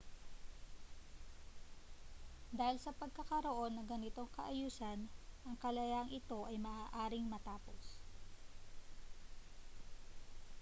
dahil sa pagkakaroon ng ganitong kaayusan ang kalayaang ito ay maaaring matapos